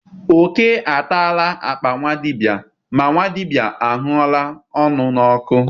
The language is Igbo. Oke atala akpa nwa dibịa ma nwa dibịa ahụla ọnụ n'ọkụ.